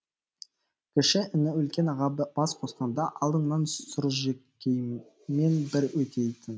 кіші іні үлкен аға бас қосқанда алдыңнан сұржекеймен бір өтейін